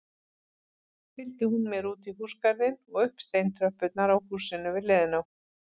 Fylgdi hún mér útí húsagarðinn og upp steintröppurnar á húsinu við hliðina.